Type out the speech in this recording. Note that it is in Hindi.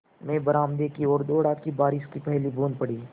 मैं बरामदे की ओर दौड़ा कि बारिश की पहली बूँद पड़ी